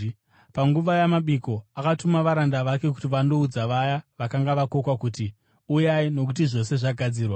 Panguva yamabiko, akatuma varanda vake kuti vandoudza vaya vakanga vakokwa kuti, ‘Uyai, nokuti zvose zvagadzirwa.’